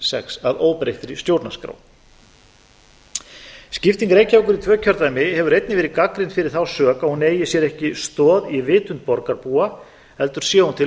sex að óbreyttri storanrskrá skipting reykjavíkur í tvö kjördæmi hefur einnig verið gagnrýnd fyrir þá sök að hún eigi sér ekki stoð í vitund borgarbúa heldur sé hún til